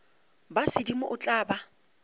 ba sedimo o tla ba